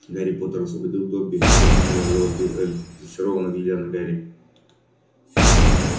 гарри поттер освободил добби пронзительно завопил эльф зачарованно глядя на гарри